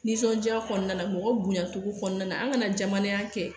Nisɔndiya kɔnɔna la mɔgɔ bonya togo kɔnɔna na an kana jamananinya kɛ